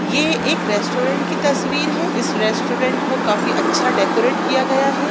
ये एक रेस्टोरेंट की तस्वीर है इस रेस्टोरेट को काफी अच्छा डेकोरेट किया गया है।